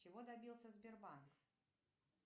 чего добился сбербанк